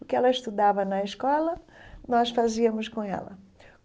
O que ela estudava na escola, nós fazíamos com ela.